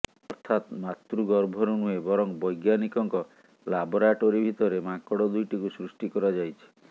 ଅର୍ଥାତ ମାତୃଗର୍ଭରୁ ନୁହେଁ ବରଂ ବୈଜ୍ଞାନିକଙ୍କ ଲାବୋରାଟୋରି ଭିତରେ ମାଙ୍କଡ ଦୁଇଟିକୁ ସୃଷ୍ଟି କରାଯାଇଛି